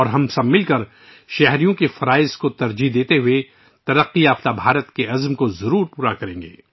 ہم مل کر یقینی طور پر شہریوں کے فرائض کو ترجیح دیتے ہوئے ایک ترقی یافتہ بھارت کا عزم حاصل کریں گے